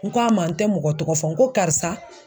N ko a ma n te mɔgɔ tɔgɔ fɔ ,n ko karisa